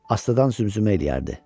Astadan zümzümə eləyərdi.